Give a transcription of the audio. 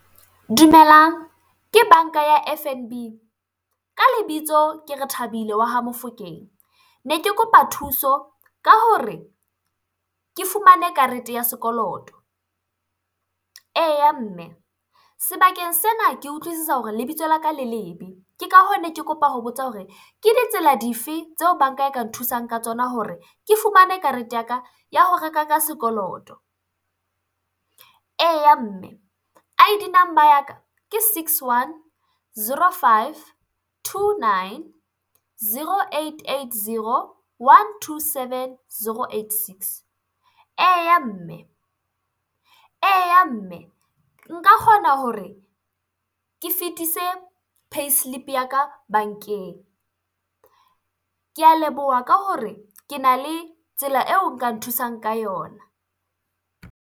Dumelang ke banka ya F_N_B, ka lebitso ke Rethabile wa ha Mofokeng ne ke kopa thuso ka hore ke fumane karete ya sekoloto. Eya mme, sebakeng sena ke utlwisisa hore lebitso la ka le lebe. Ke ka hoo, ne ke kopa ho botsa hore ke ditsela dife tseo banka e ka nthusang ka tsona hore ke fumane karete ya ka ya ho reka ka sekoloto. Eya mme I_D number ya ka ke six, one, zero, five, two nine, zero, eight, eight, zero, one, two, seven, zero, eight, six. Eya mme, eya mme, nka kgona hore ke fetise payslip ya ka bankeng. Kea leboha ka hore ke na le tsela eo nka nthusang ka yona.